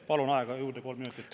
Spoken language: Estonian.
Palun aega juurde kolm minutit.